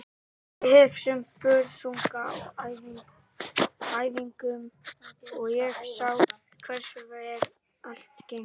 Ég hef séð Börsunga á æfingum og ég sá hversu vel allt gengur.